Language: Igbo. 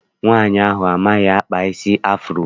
Nwaanyi ahụ amaghị akpa isi afuro.